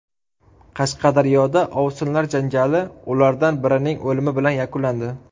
Qashqadaryoda ovsinlar janjali ulardan birining o‘limi bilan yakunlandi.